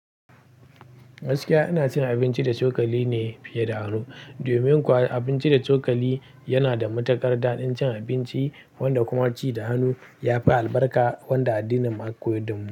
Gaskiya ina cin abinci da cokali ne fiye da hannu domin kuwa abinci da cokali yana da matuƙar daɗin cin abinci wanda kuma ci da hannu ya fi albarka wanda addinin mu aka koyar da mu.